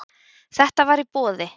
Þetta var í boði.